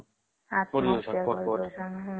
ଆତ୍ମହତ୍ୟା କରି ଦଉଛନ